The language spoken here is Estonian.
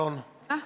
Aitäh!